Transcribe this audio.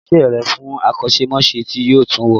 Gbe iṣẹ́ rẹ̀ fún akọ́ṣẹ́mọṣẹ́ tí yóò tun wò!